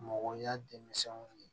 Mɔgɔya denmisɛnw ye